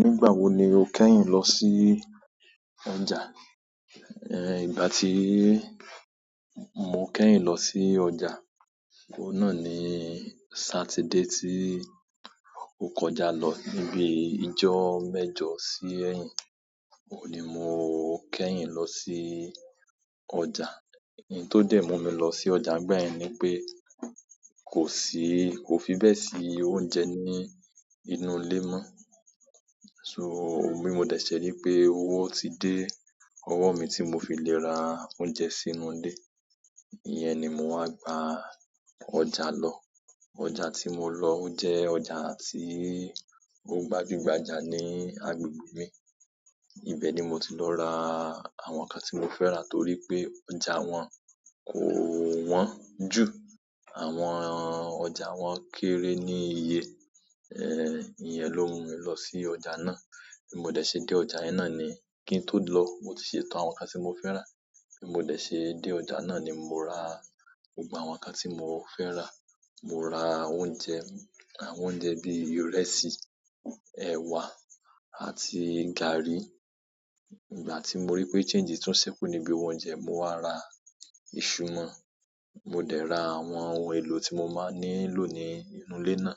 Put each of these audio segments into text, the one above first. Nígbà wo ni o kẹ́yìn lọ sí ọjà? Ìgbà ti mo kẹ́yìn lo si ọjà oun náà ni saturday ti o kọjá lo nibi ijo mẹ́jọ si eyin oun ni mo kẹ́yìn lo si ọjà oun tó dè mú mi lọ sí ọjà nígbà yẹn ni pé kò sí, kò fi bẹ́ẹ̀ sí oúnjẹ ní inú ìle mọ́. So, bi mo dẹ̀ ṣẹ̀ rí pé owó ti dé ọwọ́ mi tí mo fi lẹ́ ra oúnjẹ sínú ilé, ìyẹn ni mo wá gba ọ̀já lọ. Ọjà tí mo lọ o jẹ́ ọjà tí ó gbajúgbajà ní agbègbè mi. Ibẹ̀ ni mo ti lọ ra àwọn nǹkan tí mo fẹ́ rà torí pé ọjà wọn kò wọ́n jù, àwọn ọjà wọn kéré ní iye, ìyẹn ló mú mi lọ sí ọjà náà. Bí mo dẹ̀ ṣe dé ọjà ná ni kí n tó lọ, mo ti ṣètò àwọn ǹkan tí mo fẹ́ rá. Bí mo dẹ̀ ṣe dé ọjà náà ni mo ra gbogbo àwọn ǹkan tí mo fẹ́ rà. Mo ra oúnjẹ àwọn oúnjẹ bi ìrẹsì ewa àti garri. Ìgbà tí mo rí pé change tún ṣẹ́kù níbi oúnjẹ, mo wá ra ìṣù mọ́. Mo dẹ̀ ra àwọn ohun èlò tí mo máa nílò ní inú ilé náà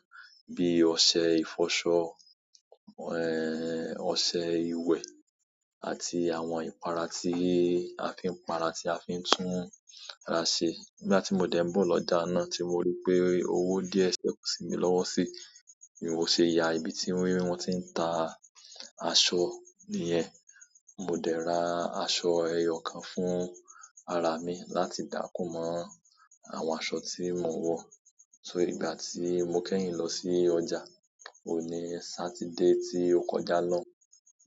bí i ọṣẹ ìfọṣọ, ọṣẹ ìwẹ̀ àti àwọn ìpara tí a fi ń para, tí a fi ń tún ara ṣe. Nígbà tí mo dẹ̀ ni ọjà náà tí mo rí pé owó díẹ̀ ṣẹ́kù sí mi lọ́wọ́ síi, ni mo ṣe ya ibi tí wọ́n ti ń ta aṣọ niyen mo de ra aṣọ eyo kan fún ara mi láti da kun mo aṣọ to mo n wo so ìgbà tí mo kẹ́yìn lọ sí ọjà, òun ní Saturday tí o kọjá lọ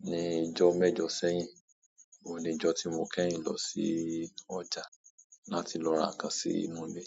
ní ìjọ́ mẹ́jọ̀ sẹ́yìn. Ó níjọ́ tí mo kẹ́yìn lọ sí ọjà láti lọ ra nǹkan sí inú ilé.